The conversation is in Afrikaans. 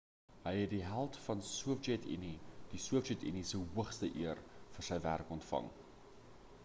hy het die held van die sowjet unie die sowjet unie se hoogste eer vir sy werk ontvang